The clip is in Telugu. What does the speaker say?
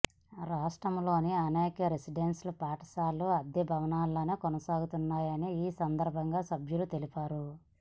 రాష్ట్రంలోని అనేక రెసిడెన్షియల్ పాఠశాలలు అద్దె భవనాల్లో కొనసాగుతున్నాయని ఈ సందర్భంగా సభ్యులు తెలిపారు